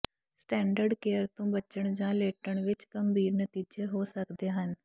standard care ਤੋਂ ਬਚਣ ਜਾਂ ਲੇਟਣ ਵਿੱਚ ਗੰਭੀਰ ਨਤੀਜੇ ਹੋ ਸਕਦੇ ਹਨ